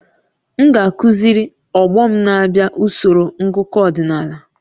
M ga-akụziri ọgbọ m na-abịa usoro ngụkọ ọdịnala